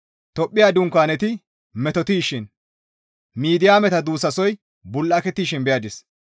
Tophphiya dunkaaneti metotettishin, Midiyaameta duussasoy bul7akettishin ta beyadis.